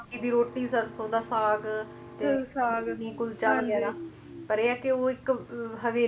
ਉਹੀ ਮੱਕੀ ਦੀ ਰੋਟੀ ਸਰਸੋਂ ਦਾ ਸਾਗ ਤੇ ਸਾਗ ਕੁਲਚਾ ਵਗੈਰਾ ਹਾਂਜੀ ਪਰ ਇਹ ਆ ਕੇ ਉਹ ਇੱਕ ਹਵੇਲੀ